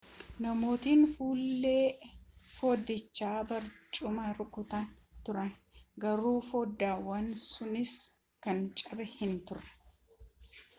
namootni fuullee foddichaa barcumaan rukutaa turani garuu foddaawwan sunniin kan caban hin turre